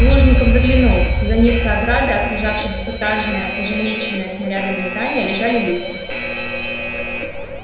плужников глянул за низкой оградой окружавшей двухэтажное уже меченное снарядами здание лежали люди